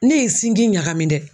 Ne ye sinji ɲagami dɛ.